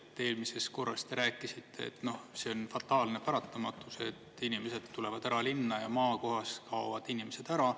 Eelmisest korrast te rääkisite, et noh, see on fataalne paratamatus, et inimesed tulevad ära linna ja maakohas kaovad inimesed ära.